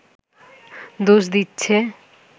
দোষ দিচ্ছে